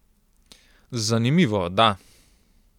Zanimivo, da.